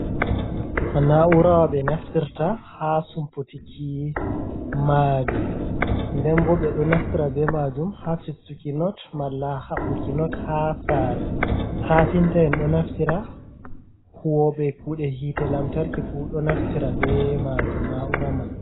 Nna'urawa ɓe naftirta haa sumputiki maadi, nden bo ɓe ɗo naftira be majum haa fistuki not, malla haɓɓuki not haa saare. Kafinta'en ɗo naftira, huwoɓe kuɗe hite lamtarki fu ɗo naftira be majum, na'ura man.